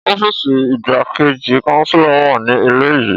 Ọfiisi Igbakeji Chancellor wa ni ile yii.